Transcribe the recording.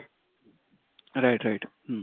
right right ହୁଁ